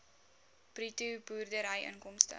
bruto boerderyinkomste